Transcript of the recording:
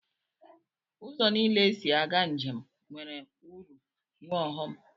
Ụzọ niile esi aga njem nwere uru nwee ọghọm.